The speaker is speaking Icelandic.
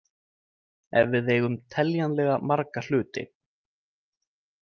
Ef við eigum teljanlega marga hluti.